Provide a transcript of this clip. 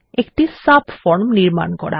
একটি সাবফর্ম নির্মান করা